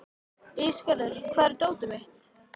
Ísgerður, hvar er dótið mitt?